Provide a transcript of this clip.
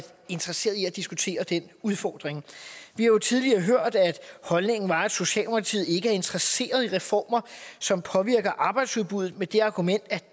interesseret i at diskutere den udfordring vi har jo tidligere hørt at holdningen var at socialdemokratiet ikke er interesseret i reformer som påvirker arbejdsudbuddet med det argument at